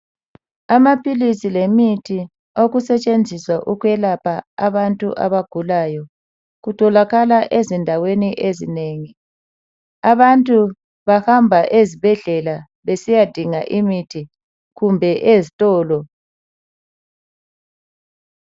Amaphilisi lemithi okusetshenziswa ukwelapha abantu abagulayo kutholakala ezindaweni ezinengi. Abantu bahamba ezibhedlela besiyadinga imithi kumbe ezitolo.